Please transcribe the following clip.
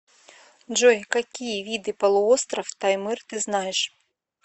джой какие виды полуостров таймыр ты знаешь